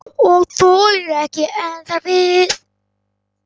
Og þolir ekki enn þar við.